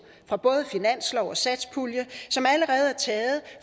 fra både finanslov og satspulje som allerede er taget